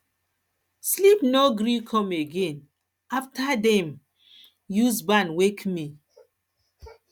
sleep no gree come again after dem again after dem use band wake me